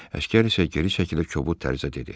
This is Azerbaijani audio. Əsgər isə geri çəkilib kobud tərzdə dedi: